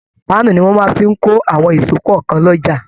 Pàanu ni wọn máa ń fí kò àwọn ìsò kankan l'oja